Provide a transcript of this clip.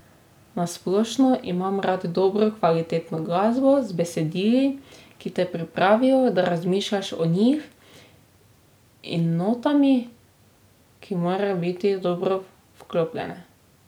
Na splošno imam rad dobro kvalitetno glasbo z besedili, ki te pripravijo, da razmišljaš o njih in notami, ki morajo biti dobro vklopljene ...